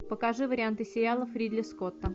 покажи варианты сериалов ридли скотта